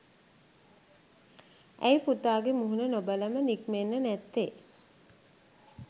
ඇයි පුතාගෙ මුහුණ නොබලම නික්මෙන්නෙ නැත්තෙ?